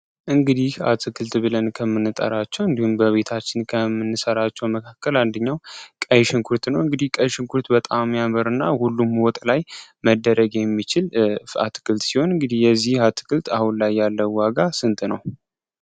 እንግዲህ አትክልት ብለን ከምንጠራቸው እንዲሁም በቤታችን ከምንሰራቸው መካከል አንደኛው ቀይ ሽንኩርት ነው። እንግዲህ ቀይ ሽንኩርት በጣም ያምርና ሁሉም ወጥ ላይ መደረግ የሚችል አትክልት ሲሆን፤ እንግዲህ የዚህ አትክልት አሁን ላይ ያለው ዋጋ ስንት ነው?